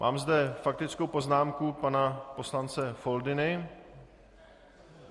Mám zde faktickou poznámku pana poslance Foldyny.